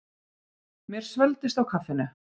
Mér svelgdist á kaffinu.